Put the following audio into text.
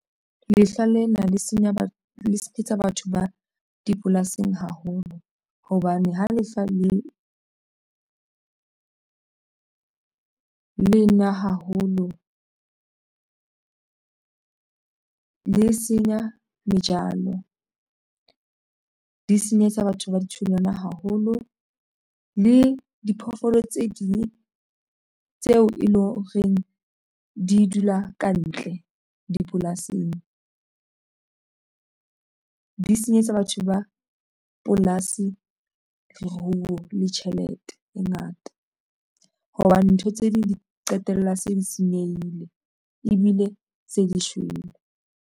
Lehlwa lena le senyetsa batho ba dipolasing haholo hobane ha lehlwa lena haholo le senya dijalo di senyetsa batho ba ditholwana haholo le diphoofolo tse ding tseo e leng horeng di dula kantle dipolasing, di senyetsa batho ba polasi leruo le tjhelete e ngata hobane ntho tse ding di qetella se di senyehile ebile se di shwele.